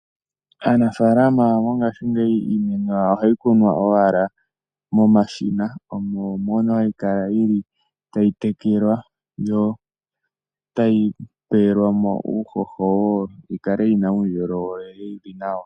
Aanafalama mongaashi ngeyi iinima yawo ohayi kunwa owala momashina omo mono hayi kala yili tayi tekelwa yo otayi tulilwamo uuhoho yikale yina uundjolowele wuli nawa.